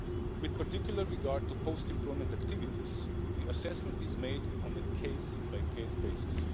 With particular regard to post employment activities, the assessment is made on a case by case basis.